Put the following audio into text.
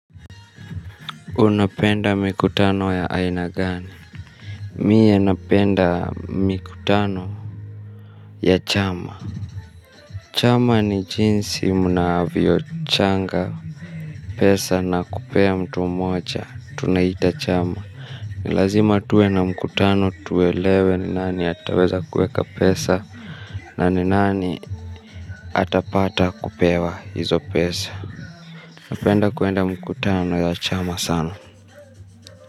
Unapenda mikutano ya aina gani? Mie napenda mikutano ya chama. Chama ni jinsi mnavyochanga pesa na kupea mtu mmoja. Tunaiita chama. Ni lazima tuwe na mkutano tuelewe ni nani ataweza kuweka pesa na ni nani atapata kupewa hizo pesa. Napenda kuenda mkutano ya chama sana.